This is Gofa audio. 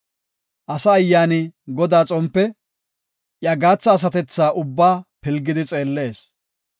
Asa ayyaani Godaas xompe; iya gaatha asatethaa ubbaa pilgidi xeellees.